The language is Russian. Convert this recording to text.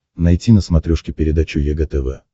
найти на смотрешке передачу егэ тв